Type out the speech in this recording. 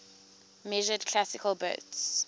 measured classical bits